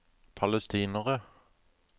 palestinere